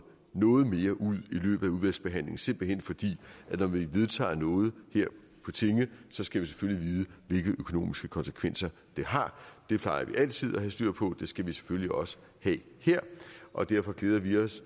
noget mere ud i løbet af udvalgsbehandlingen simpelt hen fordi vi når vi vedtager noget her på tinge skal vi selvfølgelig vide hvilke økonomiske konsekvenser det har det plejer vi altid at have styr på og det skal vi selvfølgelig også have her og derfor glæder vi os